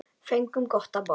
Fengum gott að borða.